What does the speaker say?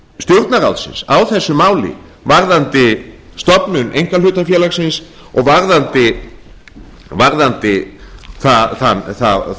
stjórnarráðsins á þessu máli varðandi stofnun einkahlutafélagsins og varðandi þær reglur sem þar